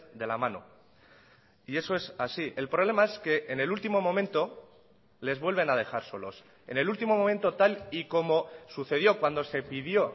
de la mano y eso es así el problema es que en el último momento les vuelven a dejar solos en el último momento tal y como sucedió cuando se pidió